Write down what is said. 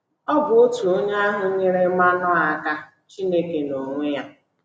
Ọ bụ otu onye ahụ nyeere Manoa aka — Chineke n’onwe ya!